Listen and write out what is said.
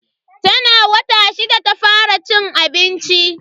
Tana wata shida ta fara cin abinci.